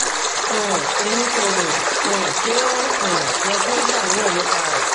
um emi ko ro um pe o um yẹ ki o ṣàníyàn nipa rẹ